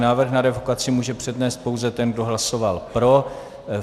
Návrh na revokaci může přednést pouze ten, kdo hlasoval pro.